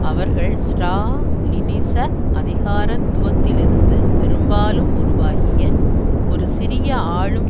அவர்கள் ஸ்ரா லினிச அதிகாரத்துவத்திலிருந்து பெரும்பாலும் உருவாகிய ஒரு சிறிய ஆளும்